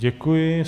Děkuji.